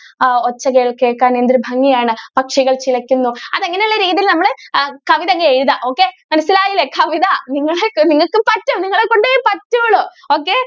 ആ ഒച്ച കേൾക്കാൻ എന്തൊരു ഭംഗി ആണ് പക്ഷികൾ ചിലയ്ക്കുന്നു അത് അങ്ങനെ ഉള്ള രീതിയിൽ നമ്മൾ കവിത അങ്ങ് എഴുതാ okay മനസിലായില്ലേ. കവിത നിങ്ങക്കും പറ്റും നിങ്ങളെ കൊണ്ടേ പറ്റുളളൂ. okay